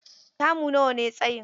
Kamu nawa ne tsayin?